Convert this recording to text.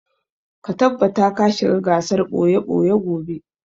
Ka tabbata ka shiga gasar ɓoye-ɓoye gobe!